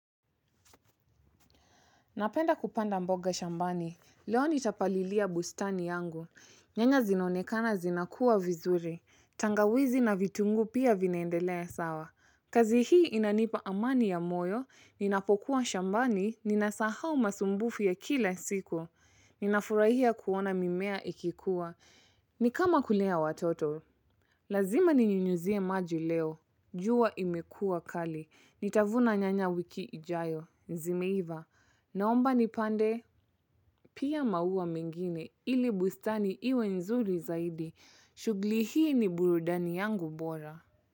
Napenda kupanda mboga shambani. Leo nitapalilia bustani yangu. Nyanya zinonekana zinakua vizuri. Tangawizi na vitungu pia vinaendelea sawa. Kazi hii inanipa amani ya moyo. Ninapokuwa shambani. Ninasahau masumbufu ya kila siku. Ninafurahia kuona mimea ikikuwa. Ni kama kulea watoto. Lazima ni nyinyuzie maji leo. Jua imekua kali. Nitavuna nyanya wiki ijayo. Zi imeiva. Naomba ni pande, pia maua mengine ili bustani iwe nzuri zaidi, shugli hii ni burudani yangu bora.